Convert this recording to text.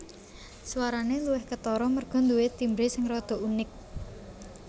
Swarane luwih ketara merga nduwe timbre sing rada unik